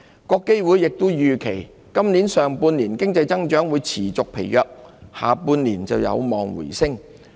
國基會亦預期，今年上半年環球經濟增長會持續疲弱，下半年則有望回升。